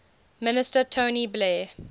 minister tony blair